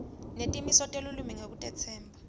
netimiso telulwimi ngekutetsemba